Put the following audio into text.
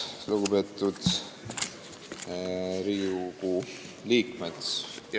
Lugupeetud Riigikogu liikmed!